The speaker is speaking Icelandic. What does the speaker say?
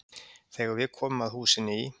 Þegar við komum að húsinu í